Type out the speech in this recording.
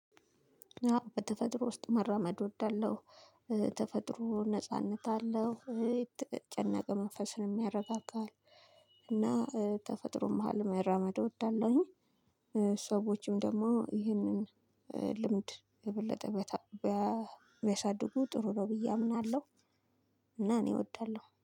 በተፈጥሮ ውስጥ መራመድ እወዳለሁ። ተፈጥሮ ነጻነት አለው የተጨነቀ መንፈስን ያረጋጋሃል። እና ተፈጥሮ መሃል መራመድ እወዳለሁኝ። ሰዎችም ደግሞ ይህንን ልምድ የበለጠ ቢያሳድጉ ጥሩ ነው ብዬ አምናለሁ። እና እኔ እወዳለሁ